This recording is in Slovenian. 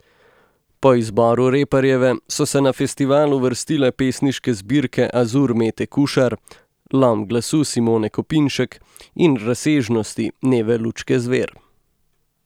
Po izboru Reparjeve so se na festival uvrstile pesniške zbirke Azur Mete Kušar, Lom glasu Simone Kopinšek in Razsežnosti Neve Lučke Zver.